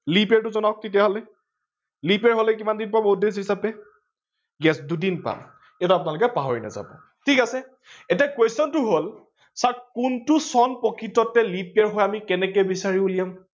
leap year টো জনাৱক তেতিয়া হলে leap year হলে কিমান দিন পাব odd days হিচাপে yes দুদিন পাম, এইটো আপোনালোকে পাহৰি নাযাব ঠিক আছে, এতিয়া question টো হল চাওক কোনটো চন প্ৰকৃততে leap year হয় আমি কেনেকে বিচাৰি উলিয়াম